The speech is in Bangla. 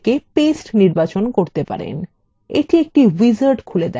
এটি একটি wizard খুলে দেয় এই window